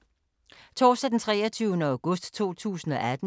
Torsdag d. 23. august 2018